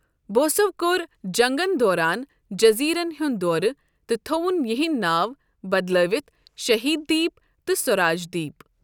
بوسَو کوٚر جنگَس دوران جٔزیٖرَن ہُنٛد دورٕ تہٕ تھووُن یِہُنٛد ناو بدلٲوِتھ 'شہید دیپ' تہٕ 'سوراج دیپ'۔